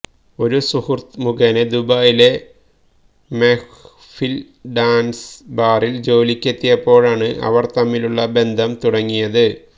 ഒരു സുഹൃത്ത് മുഖേന ദുബായിലെ മെഹ്ഫിൽ ഡാൻസ് ബാറിൽ ജോലിക്കെത്തിയപ്പോഴാണ് ഇവർ തമ്മിലുള്ള ബന്ധം തുടങ്ങിയത്